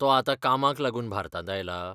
तो आतां कामाक लागून भारतांत आयलां?